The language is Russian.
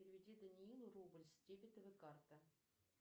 переведи даниилу рубль с дебетовой карты